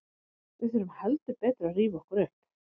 Við þurfum heldur betur að rífa okkur upp.